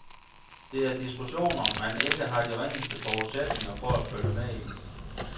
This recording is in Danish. Det er diskussioner, man ikke har de ringeste forudsætninger for at følge med i.